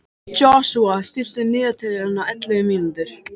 Joshua, stilltu niðurteljara á ellefu mínútur.